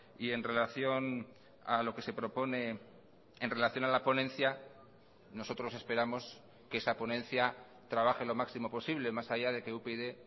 y en relación a lo que se propone en relación a la ponencia nosotros esperamos que esa ponencia trabaje lo máximo posible más allá de que upyd